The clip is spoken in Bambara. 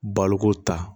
Baloko ta